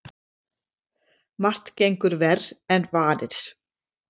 Margt gengur verr en varir.